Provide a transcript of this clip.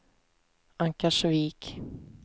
Ankarsvik